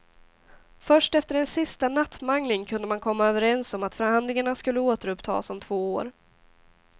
Först efter en sista nattmangling kunde man komma överens om att förhandlingarna skulle återupptas om två år.